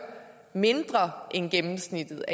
mindre end gennemsnittet